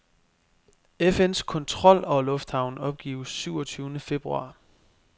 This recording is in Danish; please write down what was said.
FNs kontrol over lufthavnen opgives syv og tyvende februar.